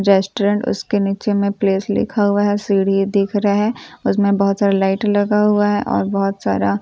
जेस्‍टोरेंट उसके नीचे में प्‍लेस लिखा हुआ है और सीढ़ी दिख रहा है उसमें बहुत सारा लाइट लगा हुआ है और बहुत सारा